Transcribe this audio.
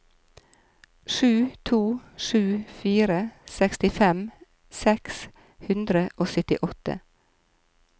sju to sju fire sekstifem seks hundre og syttiåtte